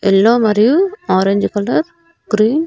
Yellow మరియు orange colour green .